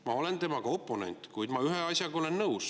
Ma olen tema oponent, kuid ma ühe asjaga olen nõus.